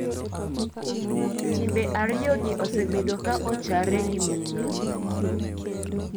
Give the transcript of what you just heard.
Timbe ariyo gi osebedo ka ochare gi minga.